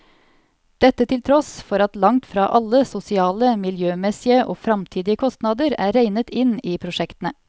Dette til tross for at langt fra alle sosiale, miljømessige og fremtidige kostnader er regnet inn i prosjektene.